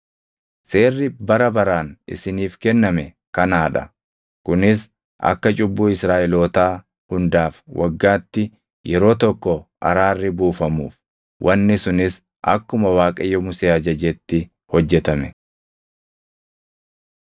“Seerri bara baraan isiniif kenname kanaa dha: Kunis akka cubbuu Israaʼelootaa hundaaf waggaatti yeroo tokko araarri buufamuuf.” Wanni sunis akkuma Waaqayyo Musee ajajetti hojjetame.